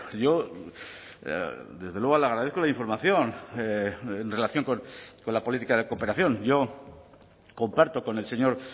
yo desde luego le agradezco la información en relación con la política de cooperación yo comparto con el señor